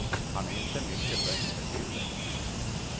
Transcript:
Han är inte mycket för intervjuer.